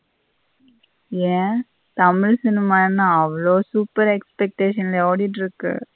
ஏ Tamil cinema என்ன அவ்வளோ super expectation லய ஓடிட்டிருக்கு.